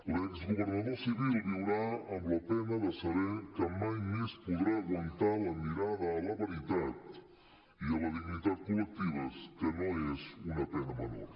l’exgovernador civil viurà amb la pena de saber que mai més podrà aguantar la mirada a la veritat i a la dignitat col·lectives que no és una pena menor